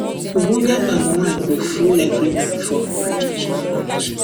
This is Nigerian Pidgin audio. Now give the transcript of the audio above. ogbonge palm wine go full everywhere for my traditional marriage